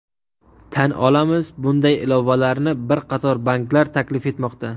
Tan olamiz, bunday ilovalarni bir qator banklar taklif etmoqda.